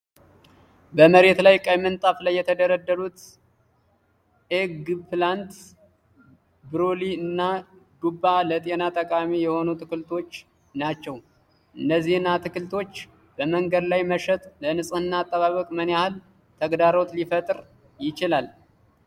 በመሬት ላይ ቀይ ምንጣፍ ላይ የተደረደሩት ኤግፕላንት፣ ብሮኮሊ እና ዱባ ለጤና ጠቃሚ የሆኑ አትክልቶች ናቸው። እነዚህን አትክልቶች በመንገድ ላይ መሸጥ ለንፅህና አጠባበቅ ምን ያህል ተግዳሮት ሊፈጥር ይችላል?